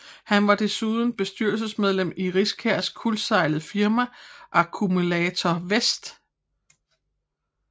Han var desuden bestyrelsesmedlem i Riskærs kuldsejlede firma Accumulator Invest